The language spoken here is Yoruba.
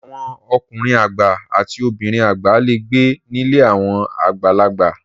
Àwọn ọkùnrin àgbà àti obìnrin àgbà le gbé nílé àwọn àgbàlagbà.